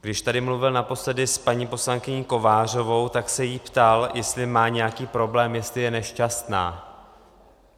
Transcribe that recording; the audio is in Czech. Když tady mluvil naposledy s paní poslankyní Kovářovou, tak se jí ptal, jestli má nějaký problém, jestli je nešťastná.